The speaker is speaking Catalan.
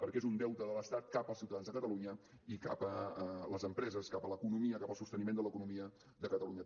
perquè és un deute de l’estat cap als ciutadans de catalunya i cap a les empreses cap a l’economia cap al sosteniment de l’economia de catalunya